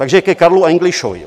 Takže ke Karlu Englišovi.